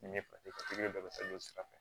Ni ne fa pipiɲɛri bɛ se ka sira fɛ